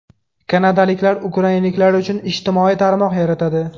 Kanadaliklar ukrainaliklar uchun ijtimoiy tarmoq yaratadi.